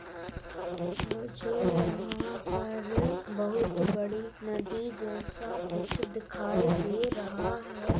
मुझे यहाँ पर बहुत बड़ी नदी जैसा कुछ दिखाई दे रहा है।